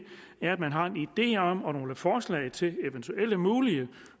er at man har en idé om og nogle forslag til eventuelle mulige